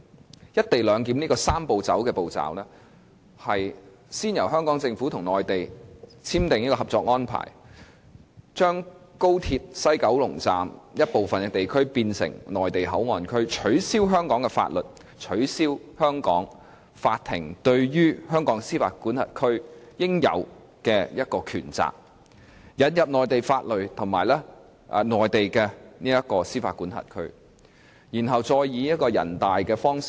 按照"一地兩檢""三步走"的步驟，先由香港政府與內地簽訂《合作安排》，把高鐵西九龍站部分地區變成內地口岸區，取消香港法例、取消香港法庭對香港司法管轄區的應有權責，繼而引入內地法律和內地司法管轄區，並經人大批准。